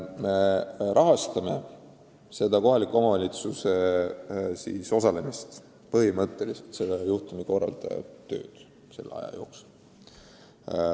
Me rahastame kohalike omavalitsuste osalemist, põhimõtteliselt juhtumikorraldajate tööd selle aja jooksul.